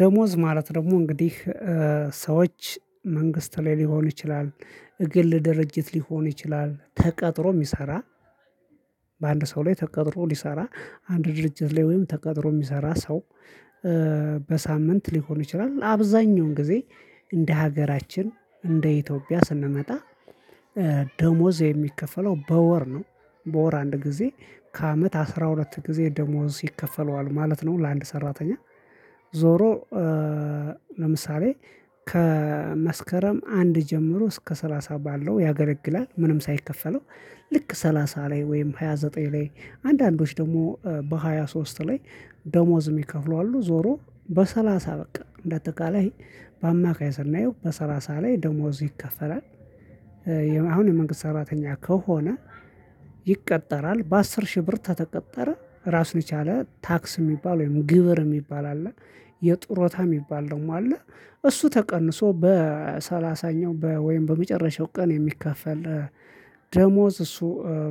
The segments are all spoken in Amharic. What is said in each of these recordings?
ደሞዝ ማለት ደግሞ እንግዲህ ሰዎች መንግስት ላይ ሊሆን ይችላል እግል ድርጅት ሊሆን ይችላል ተቀጥሮ የሚሰራ። በአንድ ሰው ላይ ተቀጥሮ ሊሰራ አንድ ድርጅት ላይ ወይም ተቀጥሮ የሚሰራ ሰው። በሳምንት ሊሆን ይችላል አብዛኛውን ጊዜ እንደ ሀገራችን እንደ ኢትዮጵያ ስንመጣ። ደሞዝ የሚከፈለው በወር ነው በወር አንድ ጊዜ ከአመት አስራ ሁለት ጊዜ ደሞዝ ይከፈለዋል ማለት ነው ለአንድ ሰራተኛ። ዞሮ። ለምሳሌ ከመስከረም አንድ ጀምሮ እስከ ሰላሳ ባለው ያገለግላል ምንም ሳይከፈለው። ልክ ሰላሳ ላይ ወይም ሃያ ዘጠኝ ላይ አንዳንዶች ደግሞ በሃያ ሶስት ላይ። ደሞዝ የሚከፍሉ አሉ ዞሮ በሰላሳ በቃ እንደ አጠቃለይ በአማካይ ስናየው በሰላሳ ላይ ደሞዝ ይከፈላል። አሁን የመንግስት ሰራተኛ ከሆነ። ይቀጠራል በአስር ሺህ ብር ተተቀጠረ ራስ የቻለ ታክስ የሚባል ወይም ግብር የሚባል አለ። የጡረታ የሚባል ደሞ አለ። እሱ ተቀንሶ በሰላሳኛው ወይም በመጨረሻው ቀን የሚከፈል። ደሞዝ እሱ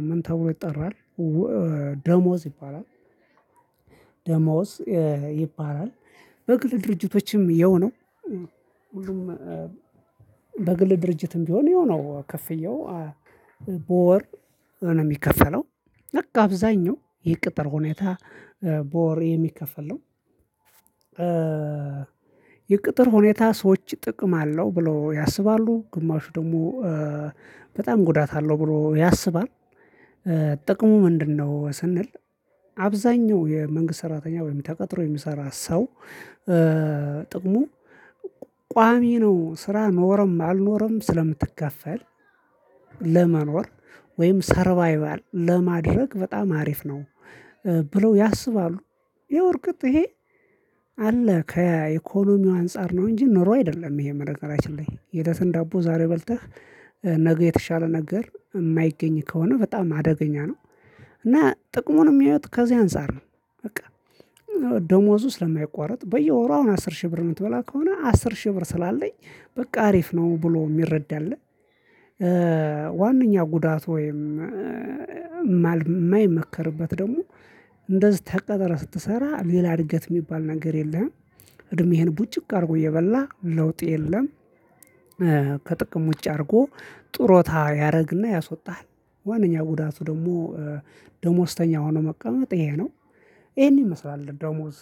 ምን ተብሎ ይጠራል? ደሞዝ ይባላል። ደሞዝ ይባላል። በግል ድርጅቶችም ያው ነው። በግል ድርጅትም ቢሆን የሆነው ክፍያው በወር ነው የሚከፈለው። አብዛኛው የቅጥር ሁኔታ በወር የሚከፈል ነው። የቅጥር ሁኔታ ሰዎች ጥቅም አለው ብለው ያስባሉ ግማሹ ደግሞ በጣም ጉዳት አለው ብሎ ያስባል። ጥቅሙ ምንድነው? ስንል አብዛኛው የመንግስት ሰራተኛ ወይ ተቀጥሮ የሚሰራ ሰው። ጥቅሙ ቋሚ ነው ስራ ኖረም አልኖረም ስለምትከፈል ለመኖር ወይም ሰርቫይቫል ለማድረግ በጣም አሪፍ ነው። ብለው ያስባሉ። ይሄው እርግጥ ይሄ አለ ከኢኮነሚው አንፃር ነው። እንጂ ኑሮ አይደለም ይሄ በነገራችን ላይ የእለትን ዳቦ ዛሬ በልተህ ነገ የተሻለ ነገር የማይገኝ ከሆነ በጣም አደገኛ ነው። እና ጥቅሙን የሚያዩት ከዚህ አንፃር ነው። በቃ ደሞዙ ስለማይቋረጥ በየወሩ አሁን አስር ሺህ ብር የምትበላ ከሆነ አስር ሺህ ብር ስላለኝ በቃ አሪፍ ነው ብሎ የሚረዳ አለ። ዋነኛ ጉዳት ወይም ማይመከርበት ደግሞ እንደዚህ ተቀጠረ ስትሰራ ሌላ እድገት የሚባል ነገር የለህም። እድሜህን ቡጭቅ አድርጎ እየበላህ ለውጥ የለም። ከጥቅም ውጭ አድርጎ ጡረታ ያደርግና ያሶጣል። ዋናኛው ጉዳቱ ደግሞ ደሞዝተኛ ሆኖ መቀመጥ ይሄ ነው። ይሄን ይመስላል ደሞዝ